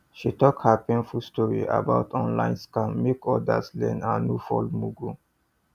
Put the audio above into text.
she talk her painful story about online scam make others learn and no fall mugu